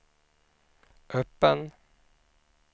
öppen